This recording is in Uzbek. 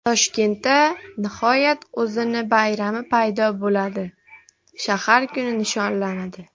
Toshkentda nihoyat o‘zining bayrami paydo bo‘ladi shahar kuni nishonlanadi.